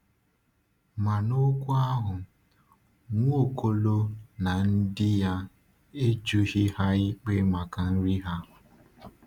Ma n’okwu ahụ, Nwaokolo na ndị ya e jụghị ha ikpe maka iri ha.